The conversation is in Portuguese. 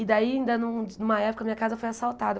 E daí, ainda nu numa época, minha casa foi assaltada.